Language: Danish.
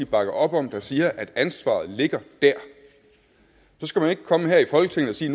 bakker op om der siger at ansvaret ligger der så skal man ikke komme her i folketinget og sige